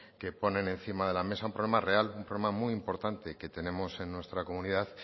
que ponen encima de la mesa un problema real un problema muy importante que tenemos en nuestra comunidad